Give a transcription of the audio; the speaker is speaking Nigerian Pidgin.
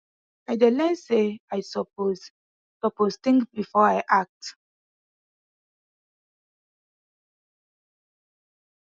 i dey learn say i suppose suppose think before i act